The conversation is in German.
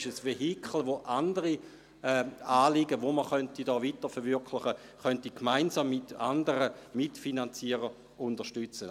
sie ist ein Vehikel, über das andere Anliegen weiterentwickelt werden könnten und das von mit anderen gemeinsam mitfinanziert werden könnte.